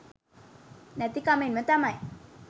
නැති කමෙන්ම තමයි.